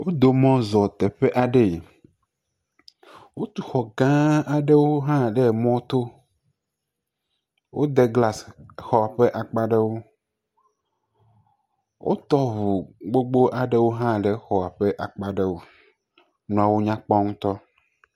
Wodo mɔ zɔ teƒe aɖee. Wotu xɔ gãa aɖewo hã ɖe emɔto. Wode glasi xɔ ƒe akpa aɖewo. Wotɔ ŋu gbogbo aɖewo hã ɖe xɔa ƒe akpa aɖewo, nuawo nya kpɔ ŋutɔ